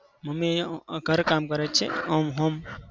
Mummy અમ ઘર કામ કરે છે. અમ home